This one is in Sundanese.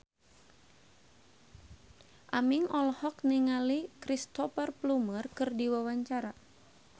Aming olohok ningali Cristhoper Plumer keur diwawancara